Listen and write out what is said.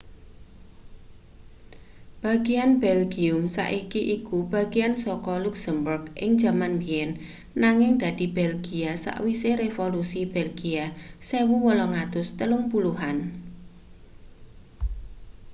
bagian belgium saiki iku bagian saka luksemburg ing jaman biyen nanging dadi belgia sawise revolusi belgia 1830-an